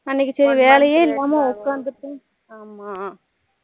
அன்னைக்கு சரி வேலையே இல்லமா உக்காந்துருக்கணும் ஆமா